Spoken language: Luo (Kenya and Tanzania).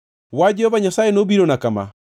Wach Jehova Nyasaye nobirona kama: